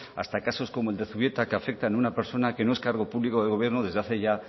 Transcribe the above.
hasta casos como el de zubieta que afectan a una persona que no es cargo público del gobierno desde hace ya